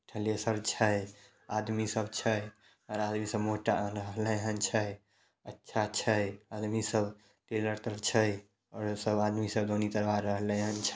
छै आदमी सब छै आर आदमी सब जा रहलन छै अच्छा छै आदमी सब छै आदमी सब रहलन--